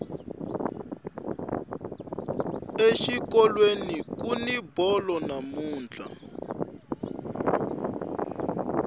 exikolweni kuni bolo namuntlha